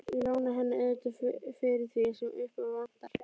Ég lána henni auðvitað fyrir því sem upp á vantar.